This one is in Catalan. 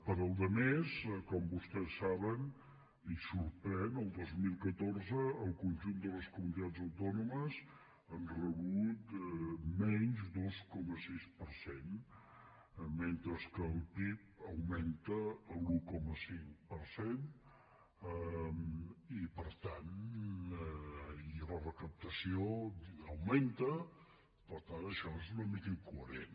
per a la resta com vostès saben i sorprèn el dos mil catorze el conjunt de les comunitats autònomes han rebut menys dos coma sis per cent mentre que el pib augmenta l’un coma cinc per cent i la recaptació augmenta per tant això és una mica incoherent